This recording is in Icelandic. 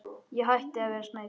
Ég hætti að vera smeyk.